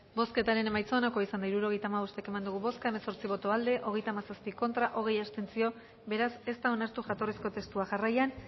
bozketaren emaitza onako izan da hirurogeita hamabost eman dugu bozka hemezortzi boto aldekoa hogeita hamazazpi contra hogei abstentzio beraz ez da onartu jatorrizko testua jarraian